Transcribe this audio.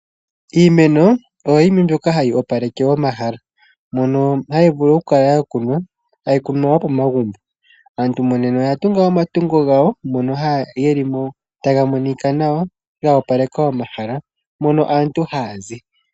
Iimeno oyo yimwe mbyoka hayi opaleke omahala mono hayi vulu okukala Yakunwa pomagumbo .Aantu monena oya tunga omatungo gawo ga opaleka omahala mono aantu hayazi.